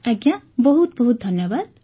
ଆଜ୍ଞା ବହୁତ ବହୁତ ଧନ୍ୟବାଦ